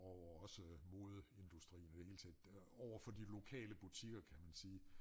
Og også modeindustrien og i det hele taget overfor de lokale butikker kan man sige